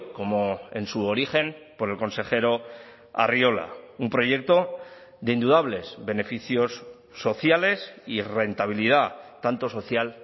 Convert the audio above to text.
como en su origen por el consejero arriola un proyecto de indudables beneficios sociales y rentabilidad tanto social